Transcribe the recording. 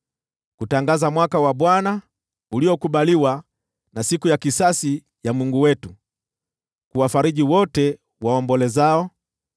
kutangaza mwaka wa Bwana uliokubaliwa, na siku ya kisasi ya Mungu wetu, kuwafariji wote waombolezao,